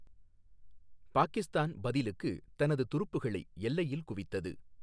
பாகிஸ்தான் பதிலுக்கு தனது துருப்புகளை எல்லையில் குவித்தது.